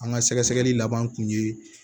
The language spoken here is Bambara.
An ka sɛgɛsɛgɛli laban kun ye